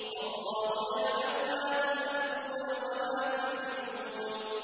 وَاللَّهُ يَعْلَمُ مَا تُسِرُّونَ وَمَا تُعْلِنُونَ